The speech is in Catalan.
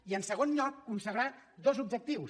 i en segon lloc consagrar dos objectius